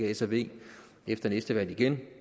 s og v efter næste valg igen